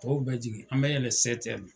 Tɔw bɛ jigin an bɛ yɛlɛ